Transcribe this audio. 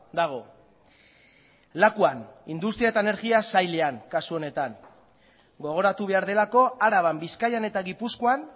dago lakuan industria eta energia sailan kasu honetan gogoratu behar delako araban bizkaian eta gipuzkoan